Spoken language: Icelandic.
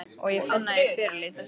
Og ég finn að ég fyrirlít þessa rödd.